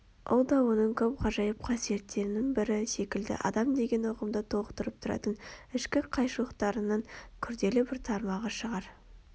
Ол да оның көп ғажайып қасиеттерінің бірі секілді адам деген ұғымды толықтырып тұратын ішкі қайшылықтарының күрделі бір тармағы шығар